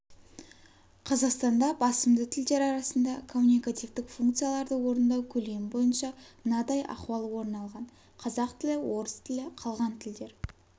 қазақстанда басымды тілдер арасында коммуникативтік функцияларды орындау көлемі бойынша мынадай ахуал орын алған қазақ тілі орыс тілі қалған тілдер